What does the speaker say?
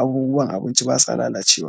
abubuwan abinci basa lalacewa.